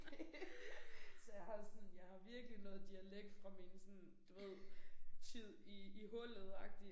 Det så jeg har sådan jeg har virkelig noget dialekt fra min sådan du ved tid i i hullet agtig